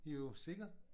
Jo sikkert